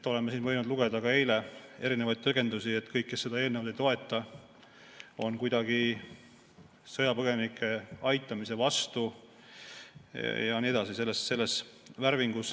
Oleme siin võinud lugeda, ka eile näiteks, erinevaid tõlgendusi, et kõik, kes seda eelnõu ei toeta, on kuidagi sõjapõgenike aitamise vastu ja nii edasi selles värvingus.